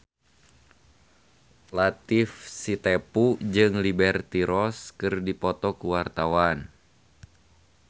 Latief Sitepu jeung Liberty Ross keur dipoto ku wartawan